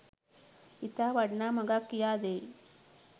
ඉතා වටිනා මගක් කියා දෙයි.